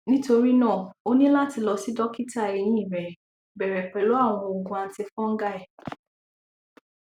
nitori náà o ni lati lọ si dokita eyin rẹ bẹrẹ pẹlu awọn oogun antifungal